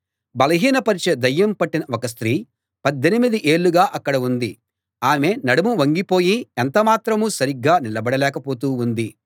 బలహీనపరచే దయ్యం పట్టిన ఒక స్త్రీ పద్దెనిమిది ఏళ్ళుగా అక్కడ ఉంది ఆమె నడుం వంగిపోయి ఎంత మాత్రమూ సరిగ్గా నిలబడలేక పోతూ ఉంది